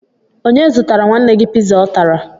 Onye zụtara nwanne gị piza ọ tara?